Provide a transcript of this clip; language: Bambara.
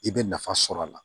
I bɛ nafa sɔrɔ a la